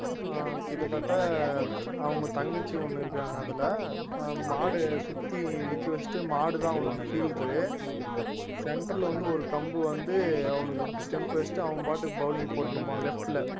ஆஹ் கிட்டத்தட்ட அவங்க தங்கச்சி ஒண்ணு இருக்காங்க அதுல மாடு சுத்தி நிக்க வச்சுட்டு மாடுதான் அவனுக்கு fielder உ center ல வந்து ஒரு கம்பு வந்து அவனுக்கு stump வச்சிட்டு அவன் பாட்டுக்கு bowling போட்டுன்னு இருப்பான் left ல